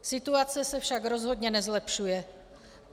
Situace se však rozhodně nezlepšuje.